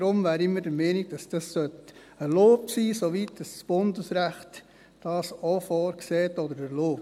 Deshalb wären wir der Meinung, dass dies erlaubt sein sollte, soweit das Bundesrecht dies auch vorsieht oder erlaubt.